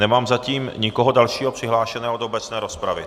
Nemám zatím nikoho dalšího přihlášeného do obecné rozpravy.